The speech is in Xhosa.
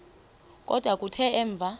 kodwa kuthe emva